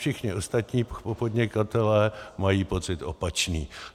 Všichni ostatní podnikatelé mají pocit opačný.